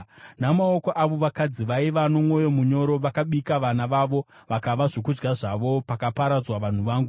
Namaoko avo vakadzi vaiva nomwoyo munyoro vakabika vana vavo, vakava zvokudya zvavo, pakaparadzwa vanhu vangu.